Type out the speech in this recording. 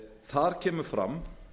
þar kemur fram